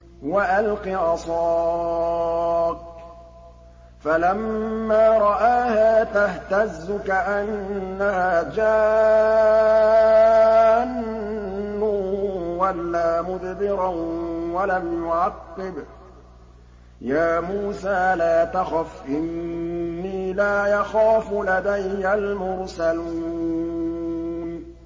وَأَلْقِ عَصَاكَ ۚ فَلَمَّا رَآهَا تَهْتَزُّ كَأَنَّهَا جَانٌّ وَلَّىٰ مُدْبِرًا وَلَمْ يُعَقِّبْ ۚ يَا مُوسَىٰ لَا تَخَفْ إِنِّي لَا يَخَافُ لَدَيَّ الْمُرْسَلُونَ